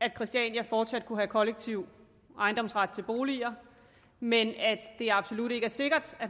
at christiania fortsat kunne have kollektiv ejendomsret til boliger men at det absolut ikke er sikkert at